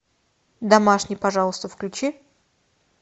домашний пожалуйста включи